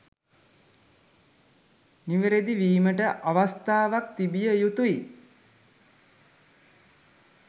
නිවාරදි විමට අවස්ථාවක් තිබිය යුතුයි.